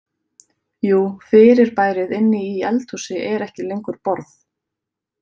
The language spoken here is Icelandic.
Jú fyrirbærið inni í eldhúsi er ekki lengur borð.